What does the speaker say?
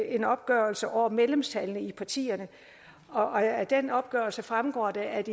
en opgørelse over medlemstallene i partierne og af den opgørelse fremgår det at